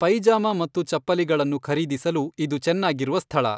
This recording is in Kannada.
ಪೈಜಾಮಾ ಮತ್ತು ಚಪ್ಪಲಿಗಳನ್ನು ಖರೀದಿಸಲು ಇದು ಚೆನ್ನಾಗಿರುವ ಸ್ಥಳ.